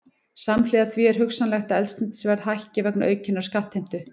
Samhliða því er hugsanlegt að eldsneytisverð hækki vegna aukinnar skattheimtu.